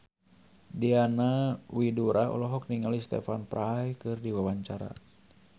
Diana Widoera olohok ningali Stephen Fry keur diwawancara